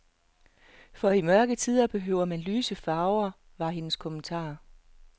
For i mørke tider behøver man lyse farver, var hendes kommentar.